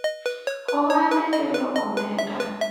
ohande kelo omenda